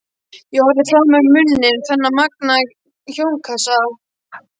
Ég horfði frá mér numinn á þennan magnaða hljómkassa.